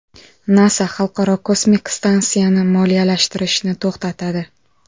NASA Xalqaro kosmik stansiyani moliyalashtirishni to‘xtatadi.